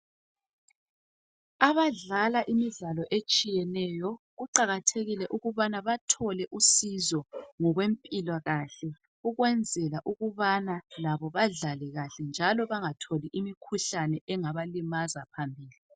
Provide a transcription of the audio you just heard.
Abadlala imidlala etshiyeneyo kuqakathekile ukubana bathole usizo ngokwempilakahle ukwenzela ukubana badlale kahle njalo bengatholi imkhuhlane engabalimaza phambilini